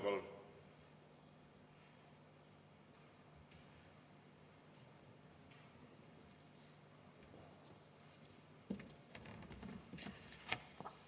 Palun!